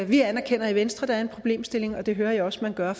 vi anerkender i venstre at der er en problemstilling og det hører jeg også man gør